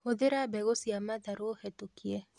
Hũthĩra mbegũ cia matharũ hetokie